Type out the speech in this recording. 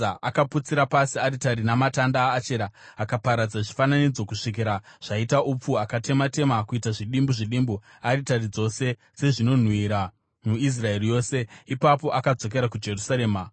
akaputsira pasi aritari namatanda aAshera akaparadza zvifananidzo kusvikira zvaita upfu, akatema-tema kuita zvidimbu zvidimbu aritari dzose dzezvinonhuhwira muIsraeri yose. Ipapo akadzokera kuJerusarema.